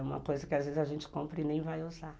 É uma coisa que às vezes a gente compra e nem vai usar.